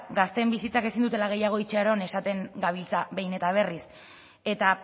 gazteen bizitzak ezin dutela gehiago itxaron esaten gabiltza behin eta berriz eta